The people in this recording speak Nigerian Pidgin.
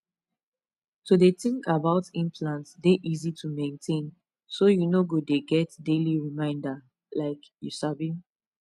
to dey think about implant dey easy to maintain so you no go dey get daily reminder like you sabi